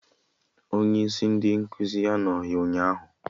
Onye isi ndị nkụzi anọghị ụnyaahụ